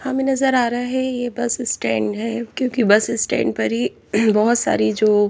हमें नजर आ रहा हैये बस स्टैंड है क्योंकि बस स्टैंड पर ही बहुत सारी जो--